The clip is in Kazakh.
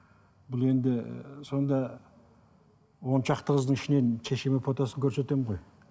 бұл енді сонда оншақты қыздың ішінен шешеме фотосын көрсетемін ғой